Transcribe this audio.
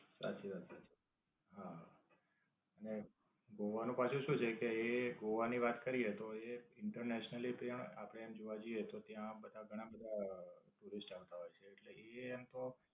સાચી વાત છે. હા, ને ગોવા નું પાછું શું છે કે એ ગોવા ની વાત કરીયે તો એ internationally પ્રમાણે આપણે જોવા જઇયે તો ત્યાં બધા ઘણા બધા foreigners આવતા હોય છે. એ એમ તો